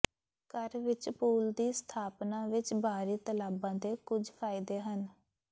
ਘਰ ਵਿੱਚ ਪੂਲ ਦੀ ਸਥਾਪਨਾ ਵਿੱਚ ਬਾਹਰੀ ਤਲਾਬਾਂ ਦੇ ਕੁਝ ਫਾਇਦੇ ਹਨ